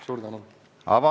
Suur tänu!